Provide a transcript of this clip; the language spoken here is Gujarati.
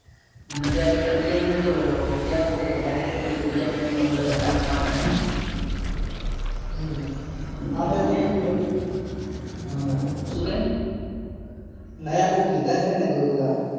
નકે પહી આ બીજા મહિના માં તો જ્યાં વખતે જાહેર કર્યું હતું. કે બીજા મહિના માં શુઁ લગન રાખવાના હે. હમ હા સુ કે. આયા કોઈક લીધા છે ને ઓલા.